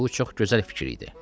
Bu çox gözəl fikir idi.